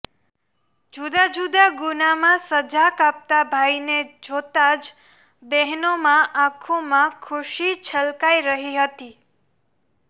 જુદા જુદા ગુનામાં સજા કાપતા ભાઈને જોતા જ બહેનોમા આખોમાં ખુશી છલકાઈ રહી હતી